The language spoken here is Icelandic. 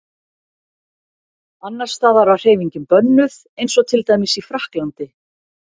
Annars staðar var hreyfingin bönnuð eins og til dæmis í Frakklandi.